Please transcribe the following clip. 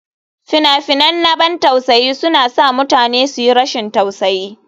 Fina-finan na ban tausayi suna sa mutane su yi rashin tausayi.